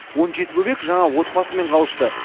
он жеті бөбек жаңа отбасымен қауышты